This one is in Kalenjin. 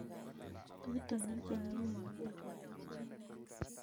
tutuinik che ng'emei muchelek ko kisirek